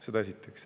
Seda esiteks.